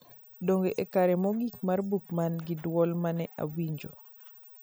duog e kare mogik mar book man gi duol mane awinjo